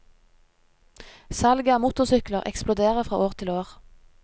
Salget av motorsykler eksploderer fra år til år.